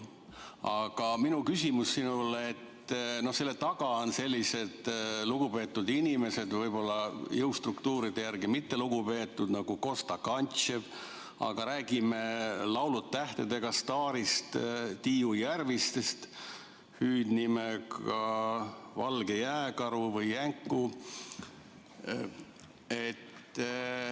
Aga minu küsimus sinule, et selle eelnõu taga on sellised lugupeetud inimesed, jõustruktuuride järgi võib-olla mitte nii lugupeetud, nagu Kosta Kantchev või saate "Laulud tähtedega" staar Tiiu Järviste, kelle hüüdnimi on Valge Jääkaru või Jänku.